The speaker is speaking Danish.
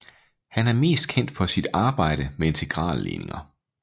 Han er mest kendt for sit arbejde med integralligninger